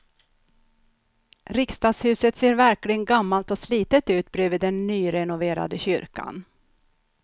Riksdagshuset ser verkligen gammalt och slitet ut bredvid den nyrenoverade kyrkan.